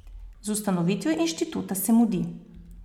Z ustanovitvijo inštituta se mudi.